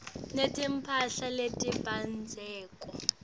netimphahla letibandzako